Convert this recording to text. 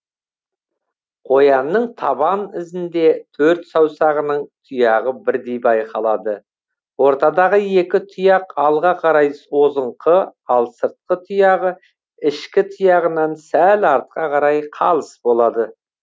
қоянның табан ізінде төрт саусағының тұяғы бірдей байқалады ортадағы екі тұяқ алға қарай созыңқы ал сыртқы тұяғы ішкі тұяғынан сәл артқа қарай қалыс болады